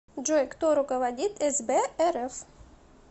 джой кто руководит сб рф